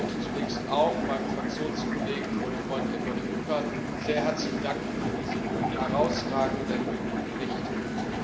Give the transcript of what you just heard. Ich möchte zunächst auch meinem Fraktionskollegen und Freund Eduard Kukan sehr herzlich für diesen herausragenden Bericht danken.